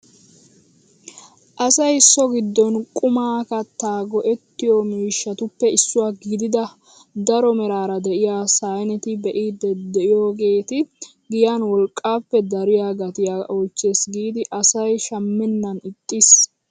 Asay so giddon qumaa kattaa go"ettiyo miishshatuppe issuwaa gidida daro meraara de'iyaa sayneta be'iidi de'iyoogeti giyan wolqqaappe dariyaa gatiyaa oychches gidi asay shammenan ixxiis!